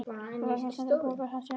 Þess vegna stendur búgarður hans enn.